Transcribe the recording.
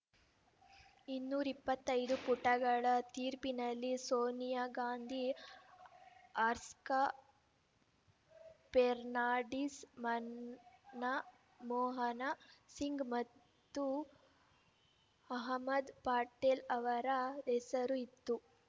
ಇನ್ನೂರ ಇಪ್ಪತ್ತೈದು ಪುಟಗಳ ತೀರ್ಪಿನಲ್ಲಿ ಸೋನಿಯಾ ಗಾಂಧಿ ಆರ್ಸ್ಕ ಪೆರ್ನಾಡೀಸ್‌ ಮನ್ನ ಮೋಹನ ಸಿಂಗ್‌ ಮತ್ತು ಮಹ್ಮದ್‌ ಪಟೇಲ್‌ ಅವರ ಹೆಸರೂ ಇತ್ತು